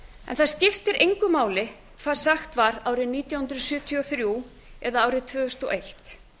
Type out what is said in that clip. en það skiptir engu máli hvað sagt var árið nítján hundruð sjötíu og þrjú eða árið tvö þúsund og eitt